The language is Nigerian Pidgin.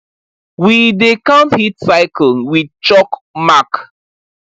we dey count heat cylce with chalk mark